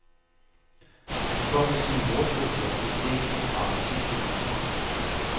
Han kom med sine mordtrusler i et TVprogram i sidste uge.